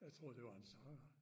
Jeg troede det var en sanger